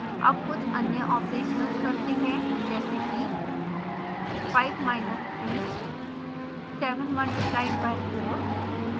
अब कुछ अन्य ऑपरेशन्स करते हैं जैसे कि